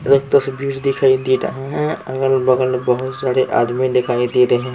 एक तस्वीर दिखाई दे रहा है अगल बगल बहुत सारे आदमी दिखाई दे रहे हैं।